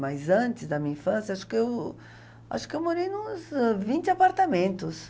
Mas antes da minha infância, acho que eu... Acho que eu morei em uns vinte apartamentos.